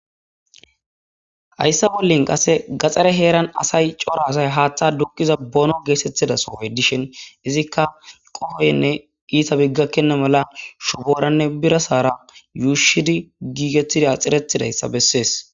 Hayssa bollin qase gaxare heeran asay cora asay haaththa dukkiza boono geesettida sohoy dishin izikka qohoynne iita biggakkenna mala shubooranne bira saara yuushidi giigetida xirettidayssa bessees.